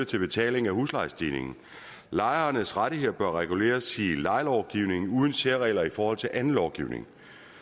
til betaling af huslejestigningen lejernes rettigheder bør reguleres i lejelovgivningen uden særregler i forhold til anden lovgivning